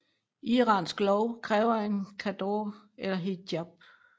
Iransk lov kræver en chador eller hijab